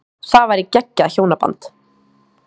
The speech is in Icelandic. Það væri geggjað hjónaband.